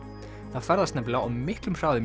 það ferðast nefnilega á miklum hraða